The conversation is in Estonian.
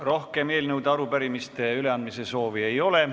Rohkem eelnõude ja arupärimiste üleandmise soovi ei ole.